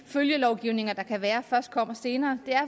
følgelovgivning der kan være først kommer senere er